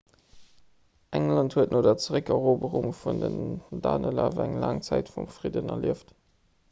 england huet no der zeréckeroberung vun den danelaw eng laang zäit vum fridden erlieft